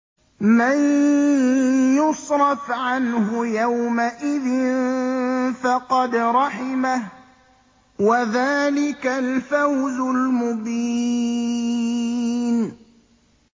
مَّن يُصْرَفْ عَنْهُ يَوْمَئِذٍ فَقَدْ رَحِمَهُ ۚ وَذَٰلِكَ الْفَوْزُ الْمُبِينُ